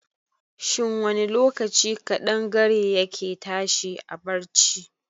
Shin wani lokaci kaɗangare ya ke tashi a barci?